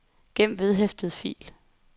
gem vedhæftet fil